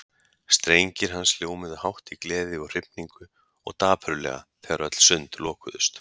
Strengir hans hljómuðu hátt í gleði og hrifningu og dapurlega þegar öll sund lokuðust.